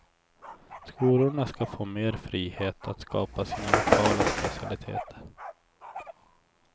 Skolorna ska få mer frihet att skapa sina lokala specialiteter.